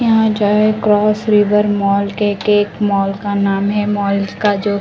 यहाँ जाए cross river mall के एक एक मॉल का नाम है मॉल का जो --